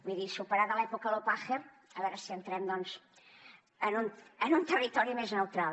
vull dir superada l’època loppacher a veure si entrem doncs en un territori més neutral